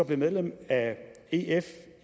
blev medlem af ef